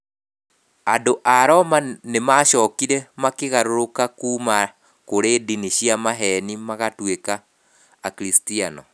Andũ a Roma nĩ maacokire makĩgarũrũka kuuma kũrĩ ndini cia maheeni magatuĩka akiricitiano.